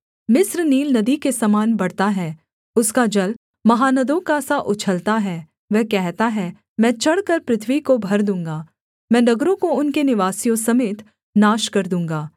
मिस्र नील नदी के समान बढ़ता है उसका जल महानदों का सा उछलता है वह कहता है मैं चढ़कर पृथ्वी को भर दूँगा मैं नगरों को उनके निवासियों समेत नाश कर दूँगा